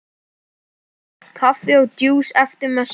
Kaffi og djús eftir messu.